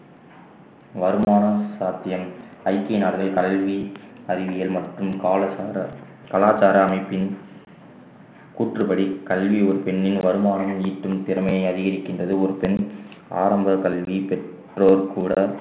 வருமானம் சாத்தியம் ஐக்கிய நாடுகளில் கல்வி அறிவியல் மற்றும் பாலசந்தர் கலாச்சாரம் அமைப்பின் கூற்றுப்படி கல்வி ஒரு பெண்ணின் வருமானம் ஈட்டும் திறமைய அதிகரிக்கின்றது ஒரு பெண் ஆரம்பக் கல்வி பெற்றோர் கூட